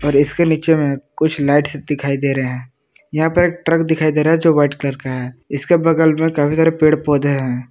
और इसके नीचे में कुछ लाइट्स दिखाई दे रहे हैं यहां पर एक ट्रक दिखाई दे रहा है जो वाइट कलर का है इसके बगल में काफी सारे पेड़ पौधे हैं।